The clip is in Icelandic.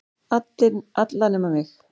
Alla nema mig.